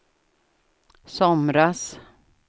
somras